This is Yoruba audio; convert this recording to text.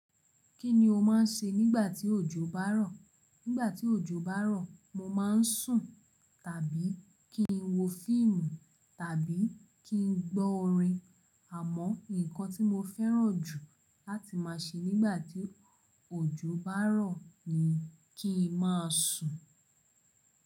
Kí ni o máa ń ṣe nígbà tí òjò bá rọ̀? Nígbà tí òjò bá rọ̀, mo máa ń sùn, tàbí kí n wo fíìmù, tàbí kí n gbọ́ orin. Àmọ́, ǹkan tí mo fẹ́ràn jù láti máa ṣe nígbà tí òjò bá ń rọ̀ ni kí n máa sùn.